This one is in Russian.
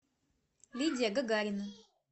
лидия гагарина